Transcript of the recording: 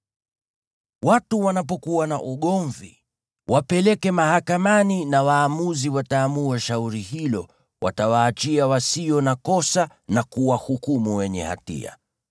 Watu wanapokuwa na ugomvi, wapeleke mahakamani na waamuzi wataamua shauri hilo; watawaachia wasio na kosa na kuwahukumu wenye hatia.